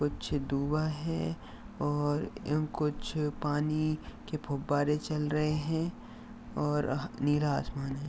कुछ दुवा है और ए कुछ पानी के फुब्बारे चल रहे हैं और नीला आसमान है।